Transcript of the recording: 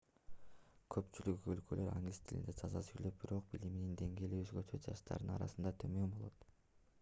көпчүлүк өлкөлөр англис тилинде таза сүйлөп бирок билиминин деңгээли өзгөчө жаштардын арасында төмөн болот